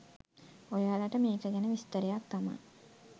ඔයාලට මේක ගැන විස්තරයක් තමා.